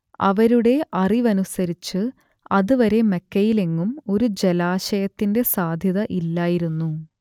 അവരുടെ അറിവനുസരിച്ച് അത് വരെ മക്കയിലെങ്ങും ഒരു ജലാശയത്തിന്റെ സാധ്യത ഇല്ലായിരുന്നു